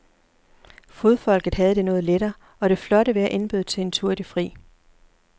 Fodfolket havde det noget lettere, og det flotte vejr indbød til en tur i det fri.